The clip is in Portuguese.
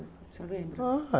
O senhor lembra?